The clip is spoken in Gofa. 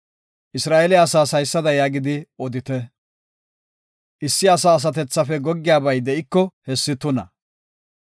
Isra7eele asaas haysada yaagidi odite; “Issi asa asatethafe goggiyabay de7iko hessi tuna.